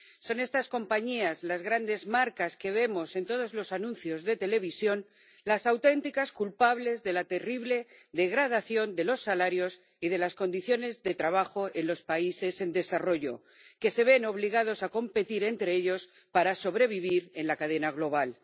Son estas compañías, las grandes marcas que vemos en todos los anuncios de televisión, las auténticas culpables de la terrible degradación de los salarios y de las condiciones de trabajo en los países en desarrollo, que se ven obligados a competir entre ellos para sobrevivir en la cadena global.